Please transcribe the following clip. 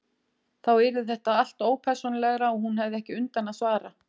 Þá yrði þetta allt ópersónulegra og hún hefði ekki undan að svara.